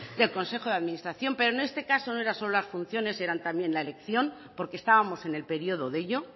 del consejo de administración pero en este caso no solo eran las funciones eran también la elección porque estábamos en el periodo de ello